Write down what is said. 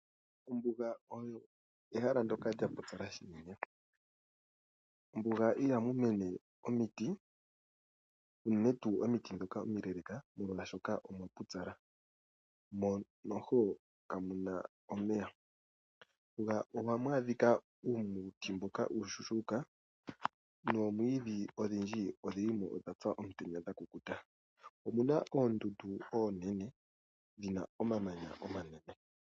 Ombuga oyo ehala ndoka lya pupyala shinene. Mombuga iha mu mene omiti unene tuu omiti ndhoka omileeleka molwaashoka omwapupyala mo kamuna omeya .Mombuga ohamu adhika uumuti mboka uushuushuka noomwiidhi odhindji odhilimo dhapya omutenya dha kukuta . Omuna oondundu oonene dhina omamanya omanene.